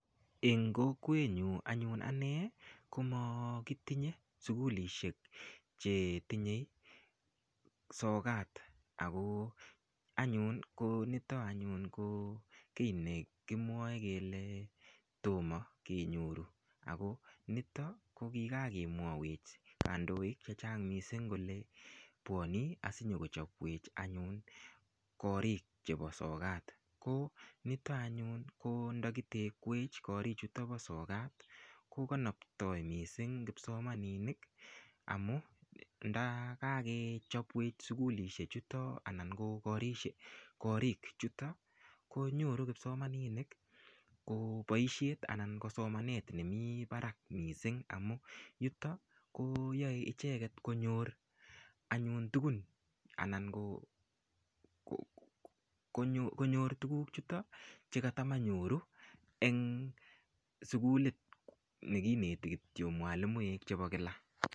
Eng' kokwenyun anyun ane koma kitinye sukulishek che tinye sokat ako anyun nito anyun ko kiit ne kimwae kele toma kenyoru ako nito ko kikakemwawech kandoik che chang' missing' kole pwane asikonyochopwech anyun karik chepo sokat. Ko nito anyun ko ndakitekwech karichuto pa sokat ko kanaptai missing' kipsomaninik amu ndakakechepwech sukulishwlechuton anan ko koriik chuto ko nyoru kipsimaninik ko paishet anan ko somanet nemi parak missing' amu yuto koyae icheget konyor anyun tugun anan konyor tuguk chuto che ka matanyoru eng' sukulit ne kineti mwalimuek kityo chepo kila.